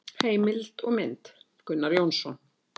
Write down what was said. Heimild og mynd: Gunnar Jónsson.